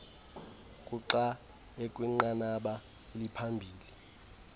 kuxa ekwinqanaba eliphambili